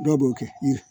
Dɔw b'o kɛ